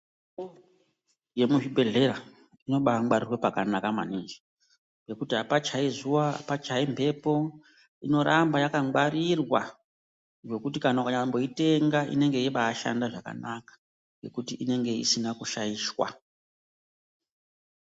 Mitombo yemuzvibhedhlera imobangwarirwa pakanaka maningi ngekuti apachaizuwa apachaimhepo inoramba yakangwarirwa zvekuti nyangwe ukaitenga Inenge yeibashanda zvakanaka ngekuti inenge isina kushaishwa.